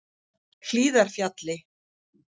Hlíðarfjalli